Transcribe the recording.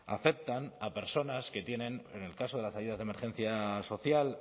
afectan a personas que tienen en el caso de las ayudas de emergencia social